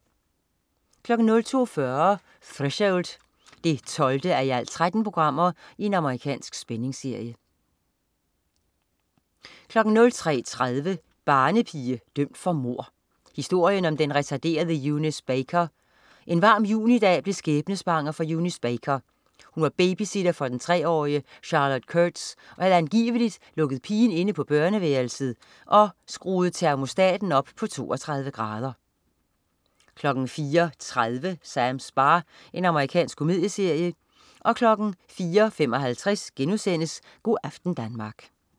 02.40 Threshold 12:13. Amerikansk spændingsserie 03.30 Barnepige dømt for mord. Historien om den retarderede Eunice Baker. En varm junidag blev skæbnesvanger for Eunice Baker. Hun var babysitter for treårige Charlotte Kurtz og havde angiveligt lukket pigen inde på børneværelset og skruet termostaten op på 32 grader 04.30 Sams bar. Amerikansk komedieserie 04.55 Go' aften Danmark*